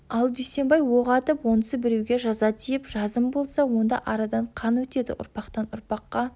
ал дүйсенбай оқ атып онысы біреуге жаза тиіп жазым болса онда арадан қан өтеді ұрпақтан ұрпаққа